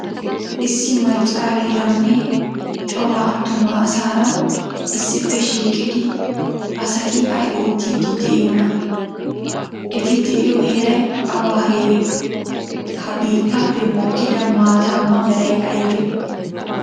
Issi maccariranne cora attuma asaara issippe shiiqidi asati ay oottidi deiyona? Etti deiyo heeray awa heere? Ha biittappe mokkida maatama meray aybe?